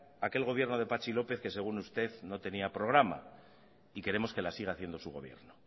aquel gobierno de patxi lópez que según usted no tenía programa y queremos que la siga haciendo su gobierno